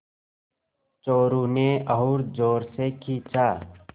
चोरु ने और ज़ोर से खींचा